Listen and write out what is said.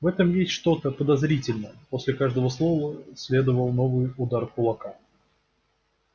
в этом есть что-то подозрительное после каждого слова следовал новый удар кулака